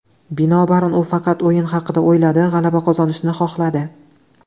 Binobarin, u faqat o‘yin haqida o‘yladi, g‘alaba qozonishni xohladi.